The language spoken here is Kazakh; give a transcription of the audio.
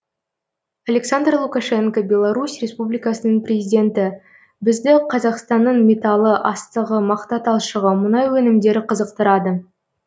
александр лукашенко беларусь республикасының президенті бізді қазақстанның металы астығы мақта талшығы мұнай өнімдері қызықтырады